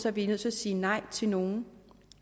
at vi er nødt til at sige nej til nogle